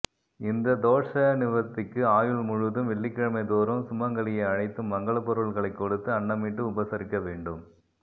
இந்த தோஷ நிவர்த்திக்கு ஆயுள் முழுதும் வெள்ளிக்கிழமை தோறும் சுமங்கலியை அழைத்து மங்கள பொருள்களை கொடுத்து அன்னமிட்டு உபசரிக்க வேண்டும்